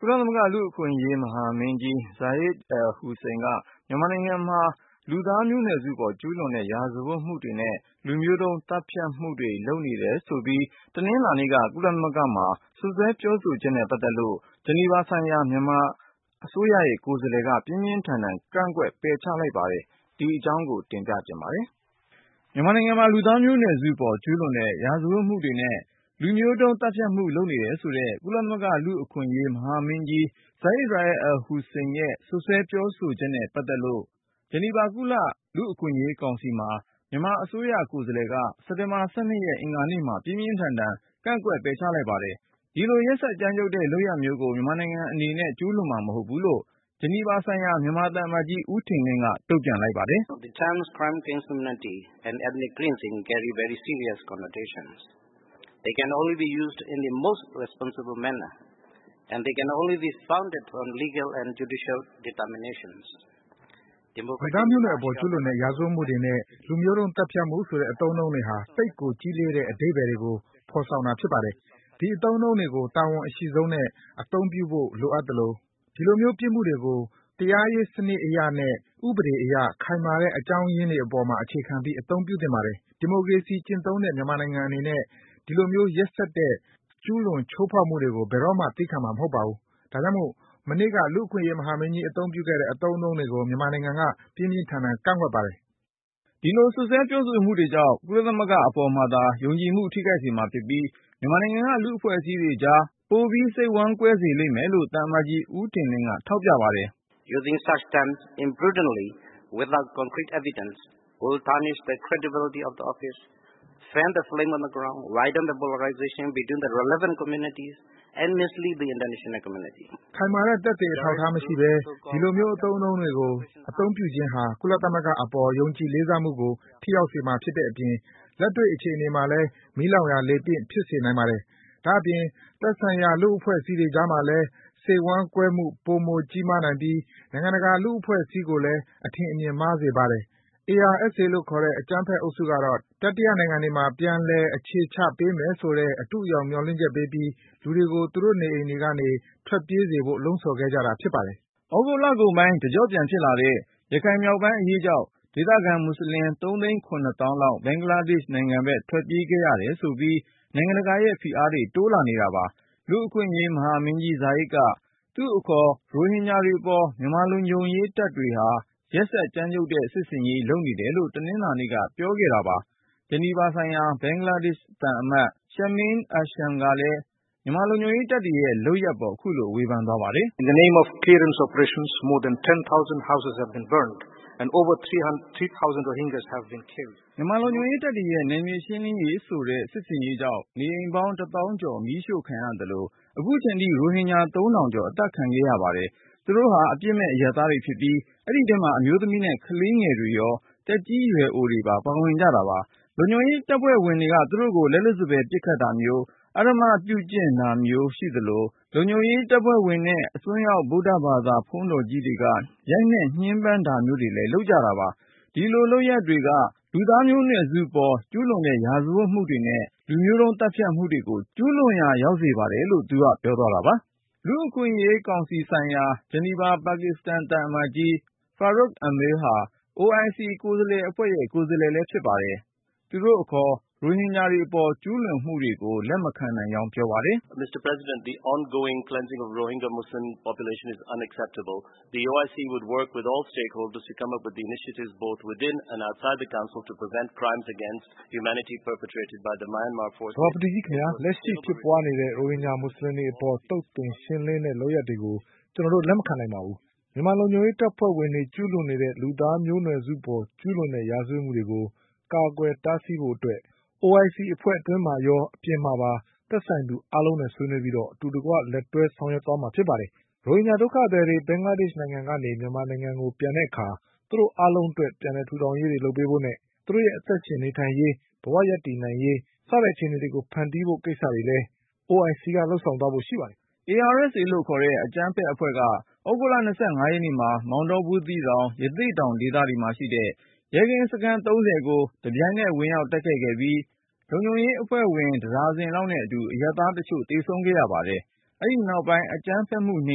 ကုလသမဂ္ဂ လူ့အခွင့်အရေး မဟာမင်းကြီး Zeid Ra'ad al-Hussein က မြန်မာနိုင်ငံမှာ လူသားမျိုးနွယ်စုပေါ် ကျူးလွန်တဲ့ ရာဇဝတ်မှုတွေနဲ့ လူမျိုးတုံး သတ်ဖြတ်မှု လုပ်နေတယ်ဆိုတဲ့ စွပ်စွဲပြောဆိုချက်နဲ့ ပတ်သက်ပြီး ဂျီနီဗာဆိုင်ရာ မြန်မာအစိုးရ ကိုယ်စားလှယ်က ပြင်းပြင်းထန်ထန် ကန့်ကွက် ပယ်ချ လိုက်ပါတယ်။ ဒီအကြောင်း ကိုဉာဏ်ဝင်းအောင်က စုစည်းတင်ပြတားတာပါ။ မြန်မာနိုင်ငံမှာ လူသားမျိုးနွယ်စုပေါ် ကျူးလွန်တဲ့ ရာဇဝတ်မှုတွေနဲ့ လူမျိုးတုံး သတ်ဖြတ်မှု လုပ်နေတယ်ဆိုတဲ့ ကုလသမဂ္ဂ လူ့အခွင့်အရေး မဟာမင်းကြီး Zeid Ra'ad al-Hussein ရဲ့စွပ်စွဲပြောဆိုချက်နဲ့ ပတ်သက်လို့ ဂျနီဗာ ကုလ လူ့အခွင့်အရေးကောင်စီမှာ မြန်မာအစိုးရ ကိုယ်စားလှယ်က စက်တင်ဘာ ၁၂ ရက် အင်္ဂါနေ့မှာ ပြင်းပြင်းထန်ထန် ကန့်ကွက် ပယ်ချလိုက်ပါတယ်။ ဒီလို ရက်စက် ကြမ်းကြုတ်တဲ့ လုပ်ရပ်မျိုးကို မြန်မာနိုင်ငံ အနေနဲ့ ကျူးလွန်မှာ မဟုတ်ဘူးလို့ ဂျနီဗာဆိုင်ရာ မြန်မာ သံအမတ်ကြီး ဦးထင်လင်းက တုန့်ပြန်လိုက်ပါတယ်။ “ လူသားမျိုးနွယ်စုပေါ် ကျူးလွန်တဲ့ ရာဇဝတ်မှုတွေနဲ့ လူမျိုးတုံး သတ်ဖြတ်မှုဆိုတဲ့ အသုံးအနှုန်း တွေဟာ သိပ်ကို ကြီးလေးတဲ့ အဓိပ္ဗါယ်တွေကို ဖေါ်ဆောင်တာ ဖြစ်ပါတယ်။ ဒီအသုံးအနှုန်း တွေကို တာဝန် အရှိဆုံးနဲ့ အသုံးပြုဖို့ လိုအပ်သလို ဒီလိုမျိုး ပြစ်မှုတွေကို တရားရေး စနစ်အရနဲ့ ဥပဒေအရ ခိုင်မာတဲ့ အကြောင်းရင်းတွေ ပေါ်မှာ အခြေခံပြီး အသုံးပြုသင့် ပါတယ်။ ဒီမိုကရေစီ ကျင့်သုံးတဲ့ မြန်မာနိုင်ငံ အနေနဲ့ ဒီလိုမျိုး ရက်စက်တဲ့ ကျူးလွန် ချိုးဖေါက်မှုတွေကို ဘယ်တော့မှ သည်းခံမှာ မဟုတ်ဘူး။ ဒါကြောင့်မို့ မနေ့က လူ့အခွင့်အရေး မဟာမင်းကြီး အသုံးပြုခဲ့တဲ့ အသုံးနှုန်းတွေကို မြန်မာနိုင်ငံက ပြင်းပြင်းထန်ထန် ကန့်ကွက်ပါတယ်။ ” ဒီလို စွပ်စွဲပြောဆိုမှု တွေကြောင့် ကုလသမဂ္ဂ အပေါ်မှာသာ ယုံကြည်မှု ထိခိုက်စေမှာ ဖြစ်ပြီး မြန်မာနိုင်ငံက လူ့အဖွဲ့အစည်းတွေကြား ပိုပြီး စိတ်ဝမ်းကွဲစေလိမ့်မယ်လို့ သံအမတ်ကြီး ဦးထင်လင်းက ထောက်ပြပါတယ်။ “ ခိုင်မာတဲ့ သက်သေ အထောက်အထား မရှိဘဲ ဒီလိုမျိုး အသုံးအနှုန်း တွေကို အသုံးပြုခြင်းဟာ ကုလသမဂ္ဂ အပေါ် ယုံကြည်လေးစားမှုကို ထိခိုက်စေမှာ ဖြစ်တဲ့ အပြင် လက်တွေ့ အခြေအနေ မှာလည်း မီးလောင်ရာ လေပင့် ဖြစ်စေနိုင်ပါတယ်။ ဒါ့အပြင် သက်ဆိုင်ရာ လူ့အဖွဲ့အစည်းတွေ ကြားမှာလည်း စိတ်ဝမ်း ကွဲမှု ပိုမိုကြီးမားနိုင်ပြီး နိုင်ငံတကာ လူ့အဖွဲ့အစည်း ကိုလည်း အထင်အမြင် မှားစေပါတယ်။ ARSA လို့ခေါ်တဲ့ အကြမ်းဖက် အုပ်စုကတော့ တတိယနိုင်ငံ တွေမှာ ပြန်လည် အခြေချ ပေးမယ်ဆိုတဲ့ အတုအယောင် မျှော်လင့်ချက်ပေးပြီး လူတွေကို သူတို့ နေအိမ်တွေကနေ ထွက်ပြေးစေဖို့ လှုံ့ဆော်ခဲ့ကြတာ ဖြစ်ပါတယ်။” သြဂုတ် လကုန်ပိုင်း တကြော့ပြန် ဖြစ်လာတဲ့ ရခိုင်မြောက်ပိုင်း အရေးကြောင့် ဒေသခံ မွတ်ဆလင် လောက် ဘင်္ဂလားဒေ့ရှ် နိုင်ငံဘက် ထွက်ပြေးခဲ့ရတယ် ဆိုပြီး နိုင်ငံတကာရဲ့ ဖိအားတွေ တိုးလာနေတာပါ။ လူ့အခွင့်အရေး မဟာမင်းကြီး Zeid က သူ့အခေါ် ရိုဟင်ဂျာတွေပေါ် မြန်မာလုံခြုံရေး တပ်တွေဟာ ရက်စက်ကြမ်းကြုတ်တဲ့ စစ်ဆင်ရေး လုပ်နေတယ်လို့ တနင်္လာနေ့က ပြောခဲ့တာပါ။ ဂျနီဗာဆိုင်ရာ ဘင်္ဂလားဒေရှ့် သံအမတ် Shameem Ahsan ကလည်း မြန်မာလုံခြုံရေး တပ်တွေရဲ့ လုပ်ရပ်ပေါ် ခုလို ဝေဖန်သွားပါတယ်။ “ မြန်မာ လုံခြုံရေး တပ်တွေရဲ့နယ်မြေရှင်းလင်းရေး ဆိုတဲ့ စစ်ဆင်ရေးကြောင့် နေအိမ်ပေါင်း သောင်းကျော် မီးရှို့ခံရသလို ခုချိန်ထိ ရိုဟင်ဂျာ ထောင်ကျော် အသတ်ခံခဲ့ ရပါတယ်။ သူတို့ဟာ အပြစ်မဲ့ အရပ်သားတွေ ဖြစ်ပြီး အဲဒီထဲမှာ အမျိုးသမီးနဲ့ ကလေးငယ်တွေရော သက်ကြီးရွယ်အိုတွေပါ ပါဝင်ကြတာပါ။ လုံခြုံရေး တပ်ဖွဲ့ဝင်တွေနဲ့ အစွန်းရောက် ဗုဒ္ဓဘာသာ ဘုန်းကြီး တွေက သူတို့ကို လက်လွတ်စပယ် ပစ်ခတ်တာမျိုး အဓမ္မပြုကျင့်တာမျိုး ရိုက်နှက် ညှင်းပန်းတာ မျိုးတွေလည်း လုပ်ပါတယ်။ ဒီလို လုပ်ရပ်တွေက လူသားမျိုးနွယ်စုပေါ် ကျူးလွန်တဲ့ ရာဇဝတ်မှုတွေနဲ့ လူမျိုးတုံး သတ်ဖြတ်မှုတွေကို ကျူးလွန်ရာ ရောက်စေပါတယ်။” လူ့အခွင့်အရေး ကောင်စီဆိုင်ရာ ဂျနီဗာ ပါကစ္စတန် သံအမတ်ကြီး Farukh Amil ဟာ OIC ကိုယ်စားအဖွဲ့ရဲ့ကိုယ်စားလှယ်လည်း ဖြစ်ပါတယ်။ သူတို့ အခေါ် ရိုဟင်ဂျာတွေ အပေါ် ကျူးလွန်မှုတွေကို လက်မခံနိုင်ကြောင်း ပြောပါတယ်။ “ သဘာပတိကြီး ခင်ဗျာ - လက်ရှိဖြစ်ပွားနေတဲ့ ရိုဟင်ဂျာ မွတ်ဆလင်တွေ အပေါ် သုတ်သင်ရှင်းလင်း လုပ်ရပ်တွေကို ကျနော်တို့ လက်မခံနိုင်ပါဘူး။ မြန်မာ လုံခြုံရေး တပ်ဖွဲ့ဝင်တွေ ကျူးလွန်နေတဲ့ လူသားမျိုးနွယ်စုပေါ် ကျူးလွန်တဲ့ ရာဇဝတ်မှုတွေကို ကာကွယ်တားဆီးဖို့ အတွက် OIC အဖွဲ့ အတွင်းမှာရေး အပြင်မှာပါ သက်ဆိုင်သူ အားလုံးနဲ့ ဆွေးနွေးပြီး အတူတကွ လက်တွဲဆောင်ရွက် သွားမှာဖြစ်ပါတယ်။ ရိုဟင်ဂျာ ဒုက္ခသည်တွေ ဘင်္ဂလားဒေ့ရှ် နိုင်ငံကနေ မြန်မာနိုင်ငံကို ပြန်တဲ့အခါ သူတို့အားလုံးအတွက် ပြန်လည် ထူထောင်ရေးတွေ လုပ်ပေးဖို့နဲ့ သူတို့ရဲ့ အသက်ရှင် နေထိုင်ရေး၊ ဘဝရပ်တည်နိုင်ရေး အခြေအနေတွေကို ဖန်တီးပေးဖို့ ကိစ္စတွေလည်း OIC က လုပ်ဆောင်သွားဖို့ ရှိပါတယ်။” Arakan Rohingya Salvation Army လို့ခေါ်တဲ့ အကြမ်းဖက် အဖွဲ့က သြဂုတ်လ ရက်နေ့မှာ မောင်တော၊ ဘူးသီးတောင်၊ ရသေ့တောင် ဒေသတွေမှာရှိတဲ့ ရဲကင်းစခန်းတွေကို တပြိုင်နက် ဝင်ရောက် တိုက်ခိုက်ခဲ့ပြီး လုံခြုံရေးအဖွဲ့ဝင် တဒါဇင်လောက်နဲ့ အတူ အရပ်သား တချို့ သေဆုံးခဲ့ရ ပါတယ်။ အဲဒီ နောက်ပိုင်း အကြမ်းဖက်မှု နှိ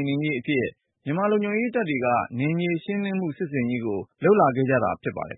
ပ်နင်းရေး အဖြစ် မြန်မာ လုံခြုံရေး တပ်တွေက နယ်မြေရှင်းလင်းမှု စစ်ဆင်ရေးကို လုပ်လာခဲ့တာ ဖြစ်ပါတယ်